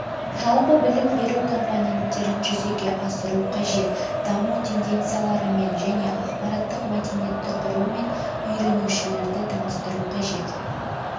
жалпы білім беру компоненттерін жүзеге асыру қажет даму тенденцияларымен және ақпараттық мәдениетті құрумен үйренушілерді таныстыру қажет